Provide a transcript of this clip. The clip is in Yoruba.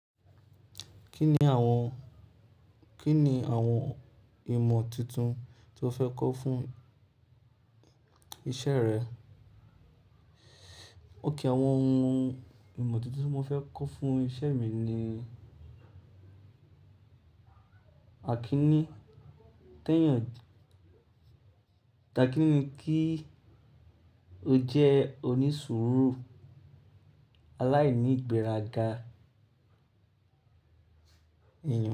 Kí ni àwọn, kí ni àwọn ìmọ̀ túntún tí o fẹ́ kọ́ fún iṣẹ́ rẹ? Ókè àwọn òhún ìmọ̀ túntún tí mo fẹ́ kọ́ fún iṣẹ́ mí ní, Akinní tẹ́yàn. Takínní kí ó jẹ́ onísùúrù aláìní ìgbéraga èèyàn.